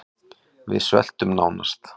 Við sveltum nánast